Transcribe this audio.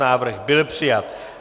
Návrh byl přijat.